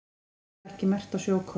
Skerið var ekki merkt á sjókort